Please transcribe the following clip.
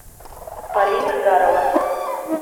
полина гарова